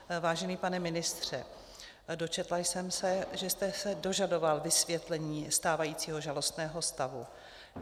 Vážený pane ministře, dočetla jsem se, že jste se dožadoval vysvětlení stávajícího žalostného stavu.